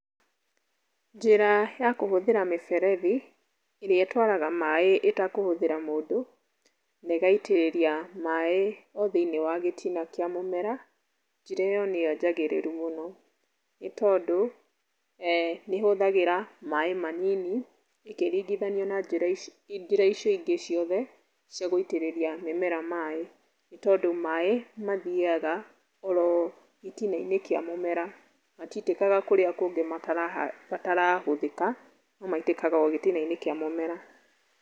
Njĩra ya kũhũthĩra mĩberethi ĩrĩa ĩtwaraga maaĩ ĩtakũhũthĩra mũndũ na ĩgaitĩrĩria maaĩ o thĩinĩ wa gĩtina kĩa mũmera njĩra ĩyo nĩyo njagĩrĩru mũno nĩ tondũ nĩ ĩhũthagĩra maaĩ manini ĩkĩringĩthanĩo na njĩra icio ingĩ ciothe cia gũitĩrĩria mĩmera maaĩ. Nĩ tondũ maaĩ mathiĩyaga oro gĩtina-inĩ kĩa mũmera. Matitĩkaga kũrĩa kũngĩ matarahũthĩka no maĩtĩkaga o gĩtina-inĩ kĩa mũmera.